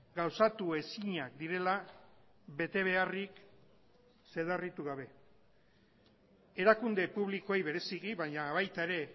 gauzatu ezinak direla betebeharrik zedarritu gabe erakunde publikoei bereziki baina baita ere